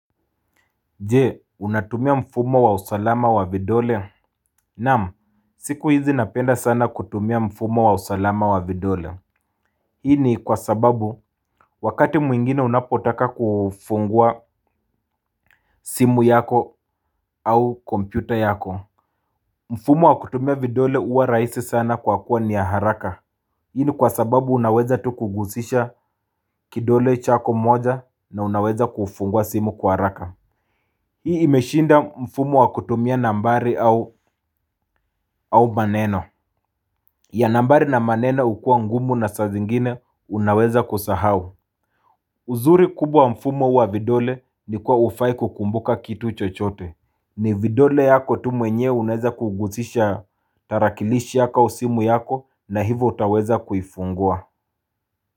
Je! Unatumia mfumo wa usalama wa vidole. Nam, siku hizi napenda sana kutumia mfumo wa usalama wa vidole. Hii ni kwa sababu wakati mwingine unapotaka kufungua simu yako au kompyuta yako mfumo wa kutumia vidole huwa raisi sana kwa kuwa ni haraka. Hii ni kwa sababu unaweza tu kugusisha kidole chako moja na unaweza kufungua simu kwa haraka. Hii imeshinda mfumo wakutumia nambari au maneno. Ya nambari na maneno ukua ngumu na sa zingine unaweza kusahau. Uzuri kubwa mfumo huu wa vidole nikuwa haufai kukumbuka kitu chochote. Ni vidole yako tu mwenyewe unaweza kugusisha tarakilishi yako au simu yako na hivyo utaweza kuifungua.